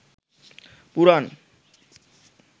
পুরাণ